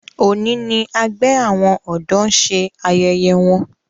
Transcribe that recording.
òní ní àgbè àwọn odò ṣe ayẹyẹ wón.